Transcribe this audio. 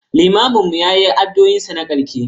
limamin mu ya yi addu'o'in sa na karshe.